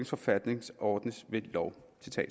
forfatning ordnes ved lov